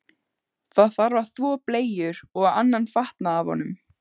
Það þarf að þvo bleyjur og annan fatnað af honum.